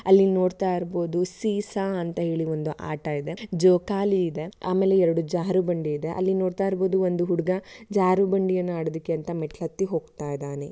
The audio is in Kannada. ಅಲ್ಲಿ ನೋಡ್ತಾ ಇರ್ಬೋದು ಸೀಸಾ ಅಂತ ಒಂದು ಆಟ ಇದೆ. ಜೋಕಾಲಿ ಇದೆ ಆಮೇಲೆ ಎರಡು ಜಾರು ಬಂಡಿ ಇದೆ ಅಲ್ಲಿ ನೋಡ್ತಾ ಇರಬಹುದು ಒಂದು ಹುಡುಗ ಜಾರು ಬಂಡಿಯನ್ನು ಆಡೋದಕ್ಕೆ ಅಂತಾ ಮೆಟ್ಟಲು ಹತ್ತಿ ಹೋಗ್ತಾಯಿದಾನೆ.